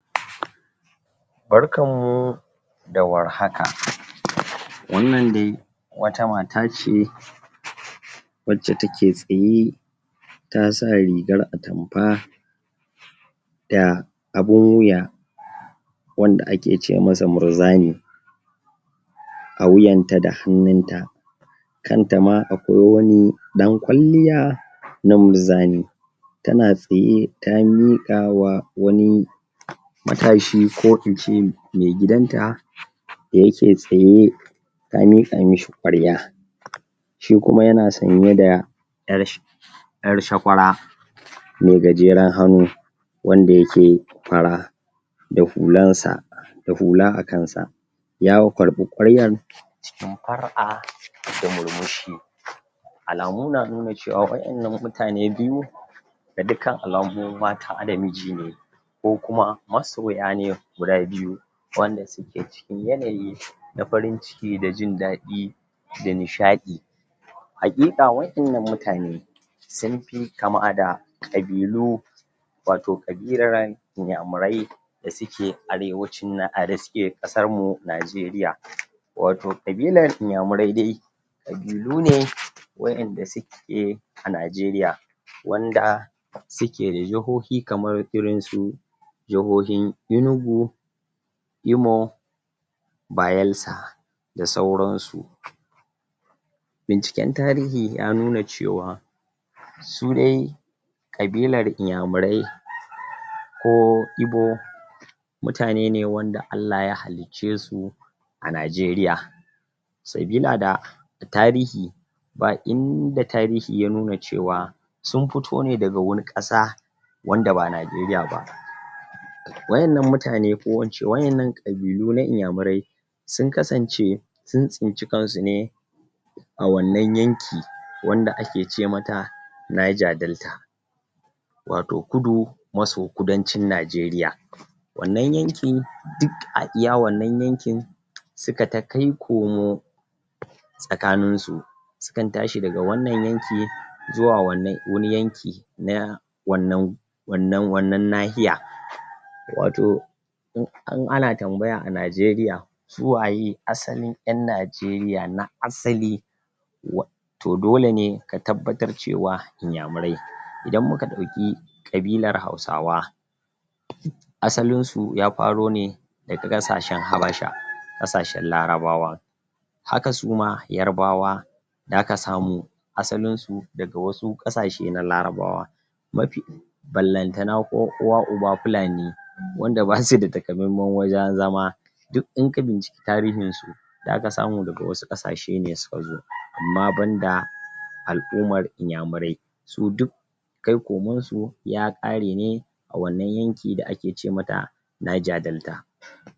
barkanmu da warhaka wannan dai wata matace wacce take tsaye tasa rigar atamfa da abun wuya wanda ake ce masa murzani a wuyanta da hannunta kanta ma akwai wani ɗan kwalliya na murzani tana tsaye, ta miƙawa wani matashi, ko ince megidanta da yake tsaye ta miƙa mishi ƙwarya shikuma yana sanye da ƴar sh ƴar shakwara me gajeran hannu wanda yake fara da hulansa da hula a kansa ya wu karɓi ƙwaryar cikin far'a da murmushi alamu na nuna cewa waƴannan mutane biyu da dukkan alamu mata da miji ne ko kuma masoya ne guda biyu wanda suke cikin yanayi na farin ciki da jin daɗi da nishaɗi haƙiƙa waƴannan mutane sunfi kama da ƙabilu wato ƙabilaran inyamurai da suke arewacin na, a da suke ƙasarmu Najeriya wato ƙabilar inyamurai dai ƙabilu ne waƴanda suke waƴanda suke a Najeriya wanda suke da jihohi kamar irin su jihohin Enugu Imo Bayelsa da sauransu binciken tarihi ya nuna cewa su dai ƙabilar inyamurai ko ibo mutane ne wanda Allah ya halicce su a Najeriya sabila da tarihi ba inda tarihi ya nuna cewa sun fito ne daga wani ƙasa wanda ba Najeriya ba waƴannan mutane, ko kuma ince waƴannan ƙabilu na inyamurai sun kasance sun tsinci kansu ne a wannan yanki wanda ake cemata Niger-Delta wato kudu, maso kudancin Najeriya wannan yankin duk a iya wannan yankin suka ta kai komo tsakanin su sukan tashi daga wannan yanki zuwa wannan, wani yanki na wannan wannan, wannan nahiya wato in, in ana tambaya a Najeriya suwaye asalin ƴan Najeriya na asali wa to dole ne ka tabbatar cewa inyamurai idan muka ɗauki ƙabilar hausawa asalin su ya faro ne daga ƙasashen Habasha, ƙasashen larabawa haka suma yarabawa zaka samu asalin su daga wasu ƙasashe na larabawa mafi ballantana ko uwa uba fulani wanda basu da takamaiman wajen zama duk in ka binciki tarihin su zaka samu daga wasu ƙasashe ne suka zo, amma banda al'ummar inyamurai su duk kai komonsu ya ƙare ne a wannan yanki da ake ce mata Niger-Delta